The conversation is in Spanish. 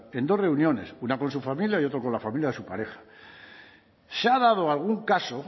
en dos reuniones una con su familia y otra con la familia de su pareja se ha dado algún caso